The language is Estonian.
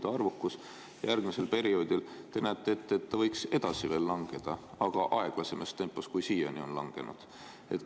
Te näete ette, et järgmisel perioodil see võiks edasi langeda, aga aeglasemas tempos, kui siiani on langenud.